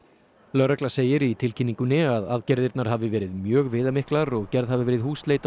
lögregla segir í tilkynningunni að aðgerðir hafi verið mjög viðamiklar og gerð hafi verið í húsleit á